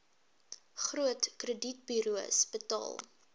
groot kredietburos betaal